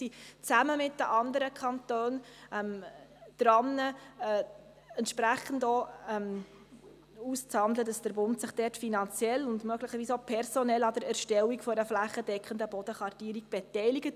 Wir sind zusammen mit den anderen Kantonen daran, entsprechend auszuhandeln, dass sich der Bund finanziell und möglicherweise auch personell an der Erstellung einer flächendeckenden Bodenkartierung beteiligt.